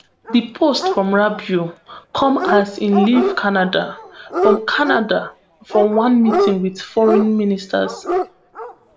di post from rubio come as im leave canada from canada from one meeting wit foreign ministers